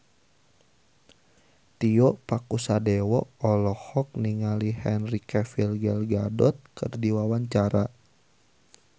Tio Pakusadewo olohok ningali Henry Cavill Gal Gadot keur diwawancara